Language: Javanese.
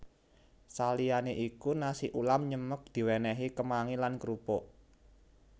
Saliyanè iku nasi ulam nyemek diwènèhi kemangi lan krupuk